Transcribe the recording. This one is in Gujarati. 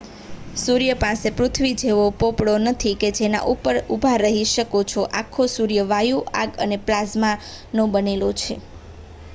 સૂર્ય પાસે પૃથ્વી જેવો પોપડો નથી કે જેના ઉપર તમે ઊભા રહી શકો છો આખો સૂર્ય વાયુઓ આગ અને પ્લાઝમાનો બનેલો છે